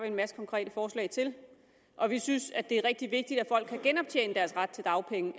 en masse konkrete forslag til og vi synes det er rigtig vigtigt at folk kan genoptjene deres ret til dagpenge